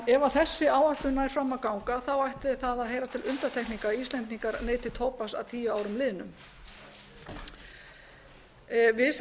ef þessi áætlun nær fram að ganga ætti það að heyra til undantekninga að íslendingar neyti tóbaks að tíu árum liðnum við sem